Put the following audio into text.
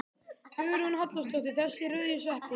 Hugrún Halldórsdóttir: Þessir rauðu sveppir?